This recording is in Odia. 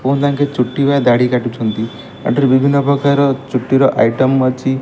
ପୁଅଯାଙ୍କେ ଚୁଟି ବା ଦାଢି କାଟୁଛନ୍ତି ଏଠି ବିଭିନ୍ନ ପ୍ରକାରର ଚୁଟିର ଆଇଟମ ଅଛି।